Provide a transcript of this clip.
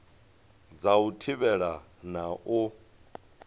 dza u thivhela na u